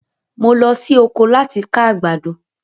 Mo lọ sí oko láti ká àgbàdo